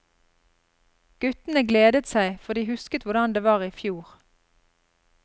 Guttene gledet seg, for de husket hvordan det var i fjor.